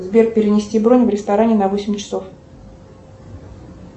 сбер перенести бронь в ресторане на восемь часов